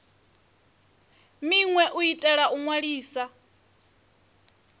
minwe u itela u ṅwalisa